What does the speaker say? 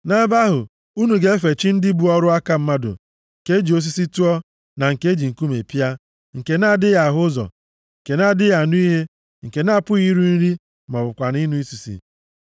Nʼebe ahụ, unu ga-efe chi ndị bụ ọrụ aka mmadụ nke e ji osisi tụọ na nke e ji nkume pịa, nke na-adịghị ahụ ụzọ, nke na-adịghị anụ ihe, nke na-apụghị iri nri ma ọ bụkwanụ ịnụ isisi.